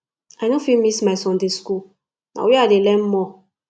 i no fit miss my sunday school na where i dey learn more